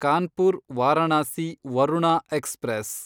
Kanpur Varanasi Varuna express